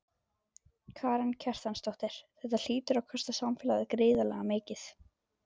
Karen Kjartansdóttir: Þetta hlýtur að kosta samfélagið gríðarlega mikið?